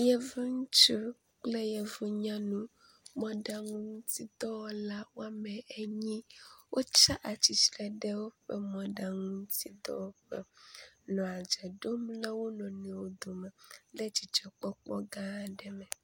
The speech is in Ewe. Yevu ŋutsuwo kple yevu nyɔnuwo. Mɔɖaŋutiɖɔwɔla woame enyi wotsa atsitre ɖe woƒe mɔɖaŋu ŋuti dɔwɔƒe nɔ adze ɖom na wo nɔnɔewo dome kple dzidzɔ kpɔkpɔ gã aɖe me.